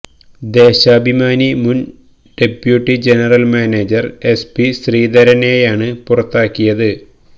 ദേശാഭിമാനി മുന് deputy general manager S P ശ്രീധരനെയാണ് പുറത്താക്കിയത്